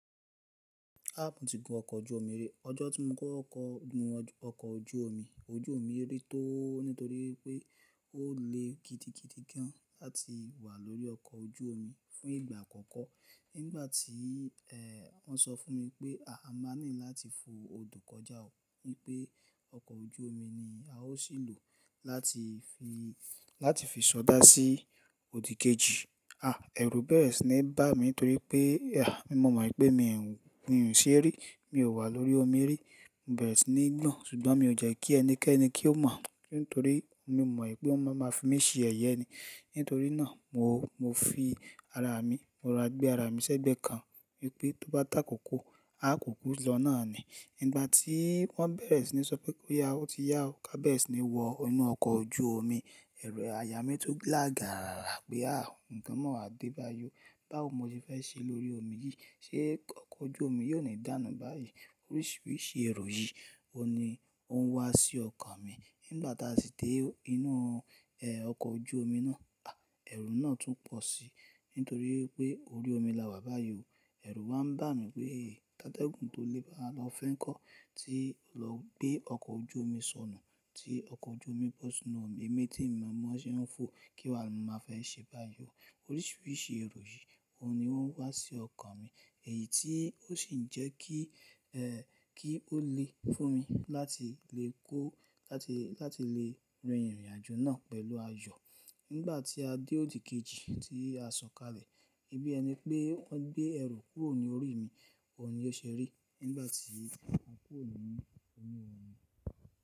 Áàpù ti gun ọkọ̀ ojú omi rí. Ọjọ́ tí mo kó ọkọ̀ gun ọkọ̀ ojú omi, ojú omi rí tó nítorí pé ó le gidigidi gan láti wà lórí ọkọ̀ ojú omi fún ìgbà àkọ́kọ́. Nígbà tí, ẹ́, wọ́n sọ fún mi pé a máa ní láti fo odò kọjá wípé ọkọ̀ ojú omi ni a ó sì lò láti fi, láti fi sọdá sí òdì kejì. Àh ẹrù bẹ́ẹ̀re sì ni bá mi nítorí pé, àh, mi mọ̀ mọ̀ pé mi ń ṣé rí, mi ò wà lórí omi rí. Bẹ́ẹ̀re sì ni gbọ̀n, ṣùgbọ́n mi ò jẹ́ kí ẹnikẹ́ni kí ó mọ̀ nítorí mi mọ̀ pé wọ́n máa máa fi mí ṣe yẹ̀yẹ ni. Nítorí náà mo, mo fi ara mi, mo ra gbé ara mi sẹ́gbẹ̀ẹ́ kan wípé tó bá takoko, a kò kú lọ náà ni. Nígbà tí wọ́n bẹ̀rẹ̀ sí ní sọ pé ó yá, ó ti yá o. Ká bẹ́ẹ̀ sì ní wọ inú ọkọ̀ ojú omi. Ẹ̀rù àyà mí tún lága rara pé àh, nǹkan mọ́ wa dé bá yó. Báwo mo ti fẹ́ ṣe lórí omi yìí? Ṣé ọkọ̀ ojú omi yìí ó ni dànù báyìí? Oríṣiríṣi èrò yìí òun ni ó ń wá sí ọkàn mi. Nígbà tá a sì dé inú, ẹ́, ọkọ̀ ojú omi náà, àh ẹrù náà tún pọ̀ si nítorí pé orí omi la wà bá yi ó. Ẹ̀rù wà ń bá mi wípé tátégùn tó lé bá a lọ fẹ́ ń kọ́ ti lọ gbé ọkọ̀ ojú omi sọnù tí ọkọ̀ ojú omi bò sí inú omi. Èmi tí mo mọ̀ ọ́n ṣe ń fò kí wa máa fẹ́ ṣe bá yó. Oríṣiríṣi èrò yìí òun ni wọ́n wá sí ọkàn mi èyí tí ó sì ń jẹ́ kí, ẹ́, kí ó le fún mi láti lè kó láti, láti lè rin ìrìnàjò náà pẹ̀lú ayọ̀. Nígbà tí a dé òdì kejì tí a sọ̀kalẹ̀, bí ẹni pé wọ́n gbé ẹrù kúrò ní orí mi, òun ni ó ṣe rí nígbà tí wọ́n kúrò nínú inú omi.